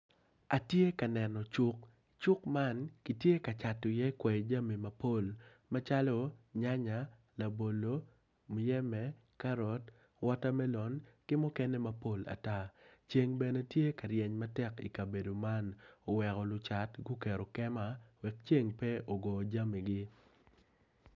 Atye ka neno cuk, cuk man kitye ka cato iye kwer jami mapol macalo nyanya labolo muyeme karot, watermelon ceng bene tye ka ryeny matek i kabedo man oweko lucat guketo kema wek ceng pe ogo jamigi.